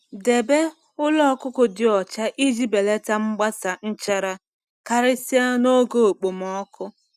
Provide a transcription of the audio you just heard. Debe ụlọ ọkụkọ dị ọcha iji belata mgbasa nchara, karịsịa n’oge okpomọkụ.